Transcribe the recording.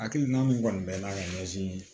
Hakilina min kɔni bɛ n'a ka ɲɛsin